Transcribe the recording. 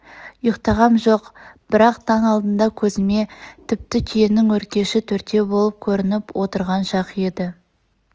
ұйықтағам жоқ бірақ таң алдында көзме тіпті түйенің өркеші төртеу болып көрніп отырған шақ еді